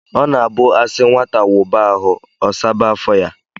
O na-abu a si nwata wuba ahu, o saba afo ya.